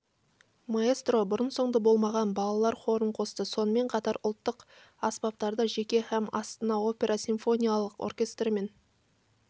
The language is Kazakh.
маэстро бұрын-соңды болмаған балалар хорын қосты сонымен қатар ұлттық аспаптарды жеке һәм астана опера симфониялық оркестрімен